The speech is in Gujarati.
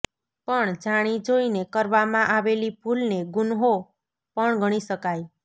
પણ જાણી જોઈને કરવામાં આવેલી ભૂલને ગુન્હો પણ ગણી શકાય